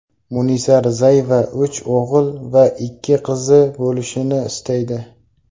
Munisa Rizayeva uch o‘g‘il va ikki qizi bo‘lishini istaydi.